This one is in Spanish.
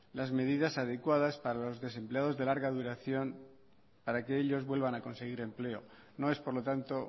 las medidas adecuadas para los desempleados de larga duración para que ellos vuelvan a conseguir empleo no es por lo tanto